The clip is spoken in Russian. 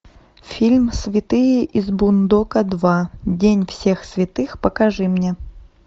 фильм святые из бундока два день всех святых покажи мне